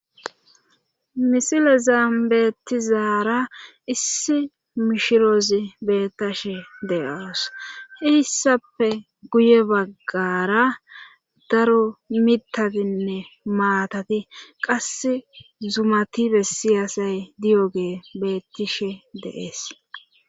misilezan beettizaara issi mishiroozi bettashe de7oos hissappe guye baggara daro mitatinne maatati qasse zumati bessiyasay diyogee bettishe de'ees